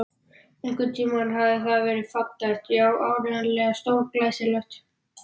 Einhvern tímann hafði það verið fallegt, já, áreiðanlega stórglæsilegt.